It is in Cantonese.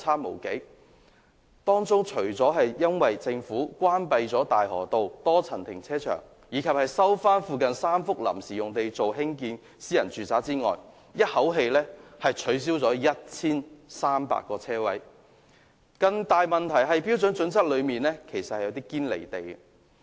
究其原因，除了政府關閉大河道多層停車場及收回附近3幅臨時停車場用地興建私人住宅，"一口氣"取消 1,300 個車位外，更大的問題是《規劃標準》內有些新標準"堅離地"。